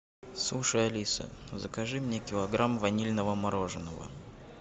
слушай алиса закажи мне килограмм ванильного мороженого